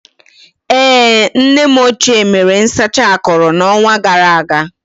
Ee, nne m ochie mere nsacha akụrụ n'ọnwa gara aga.